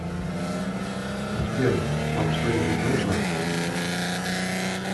сбер вам что нибудь нужно